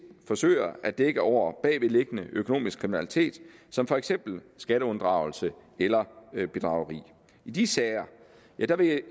forsøger at dække over bagvedliggende økonomisk kriminalitet som for eksempel skatteunddragelse eller bedrageri i de sager vil